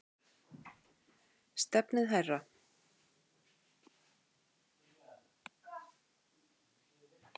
Stefnið hærra.